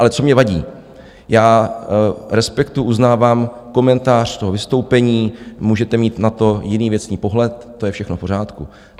Ale co mi vadí, já respektuji, uznávám komentář toho vystoupení, můžete mít na to jiný věcný pohled, to je všechno v pořádku.